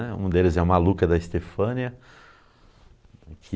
Um deles é o Maluca da Estefânia, que...